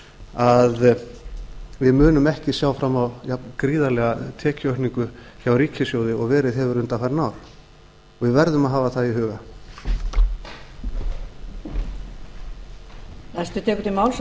að við munum ekki sjá fram á jafngríðarlega tekjuaukningu hjá ríkissjóði og verið hefur undanfarin ár við verðum að hafa það í huga